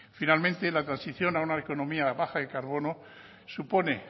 finalmente la transición a una economía baja de carbono supone